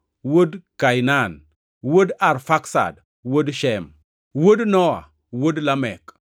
wuod Kainan, wuod Arfaksad, wuod Shem, wuod Nowa, wuod Lamek,